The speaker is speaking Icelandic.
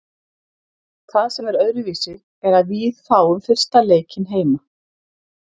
Það sem er öðruvísi er að víð fáum fyrsta leikinn heima.